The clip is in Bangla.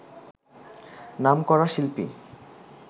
নামকরা শিল্পী